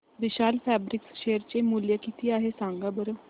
विशाल fabrics share चे मूल्य किती आहे सांगा बरं